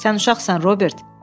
Sən uşaqsan, Robert!